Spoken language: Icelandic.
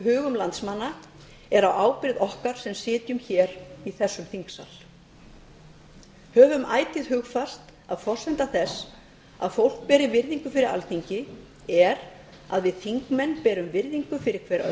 hugum landsmanna er á ábyrgð okkar sem sitjum hér í þessum þingsal höfum ætíð hugfast að forsenda þess að fólk beri virðingu fyrir alþingi er að við þingmenn berum virðingu hver fyrir